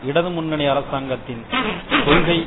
இடது முன்னணி அரசாங்கத்தின் கொள்கை